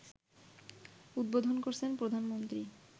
উদ্বোধন করেছেন প্রধানমন্ত্রী